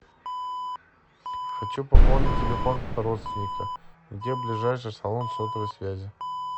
хочу пополнить телефон родственника где ближайший салон сотовой связи